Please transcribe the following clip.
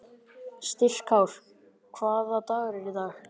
Styrkár, hvaða dagur er í dag?